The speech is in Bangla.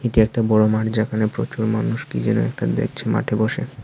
এটি একটা বড়ো মাঠ যেখানে প্রচুর মানুষ কি যেনো একটা দেখছে মাঠে বসে।